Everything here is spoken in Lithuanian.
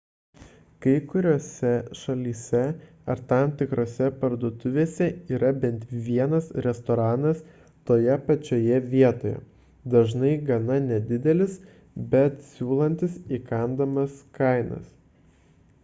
kai kuriose šalyse ar tam tikrose parduotuvėse yra bent vienas restoranas toje pačioje vietoje dažnai gana nedidelis bet siūlantis įkandamas kainas